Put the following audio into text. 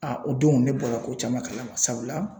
A o don ne bɔra ko caman kala ma sabula